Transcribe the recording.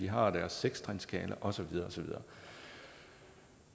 har deres seks trinsskala og så videre